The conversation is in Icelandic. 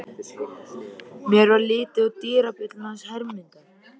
Mér varð litið á dyrabjölluna hans Hermundar.